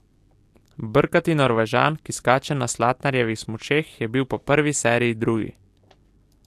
Brkati Norvežan, ki skače na Slatnarjevih smučeh, je bil po prvi seriji drugi.